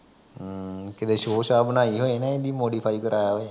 ਹਮ ਕਿਤੇ ਸੌਅ ਸਾਅ ਬਣਾਈ ਹੋਵੇ ਇਹਦੀ ਮੋਡੀਫਾਈ ਕਰਵਾਇਆ ਹੋਵੇ